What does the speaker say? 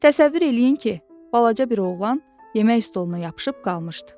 Təsəvvür edin ki, balaca bir oğlan yemək stoluna yapışıb qalmışdı.